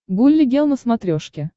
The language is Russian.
гулли гел на смотрешке